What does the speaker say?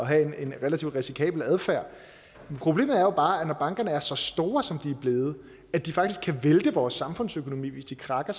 have en relativt risikabel adfærd problemet er jo bare at når bankerne er blevet så store som de er blevet at de faktisk kan vælte vores samfundsøkonomi hvis de krakker